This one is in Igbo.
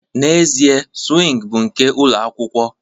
N'ezie, swing bụ nke ụlọ akwụkwọ